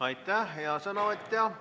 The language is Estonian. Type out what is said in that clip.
Aitäh, hea sõnavõtja!